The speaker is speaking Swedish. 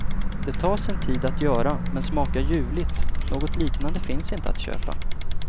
Det tar sin tid att göra men smakar ljuvligt, något liknande finns inte att köpa.